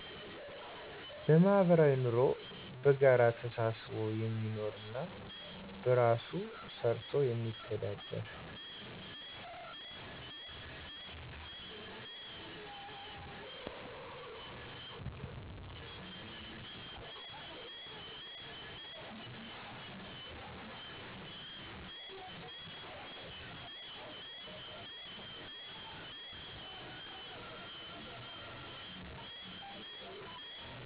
በማህበራዊ ንሮ በጋራ ተሳስቦ የሚኖር እና በራሱ ሰርቶ የሚተዳደር